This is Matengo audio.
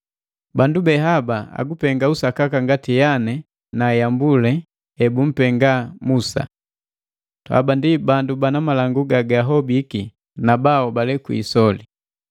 Bandu be haba agupenga usakaka ngati Yane na Yambule ebumpenga Musa. Haba ndi bandu bana malangu gagahobiki na baahobale kwiisoli.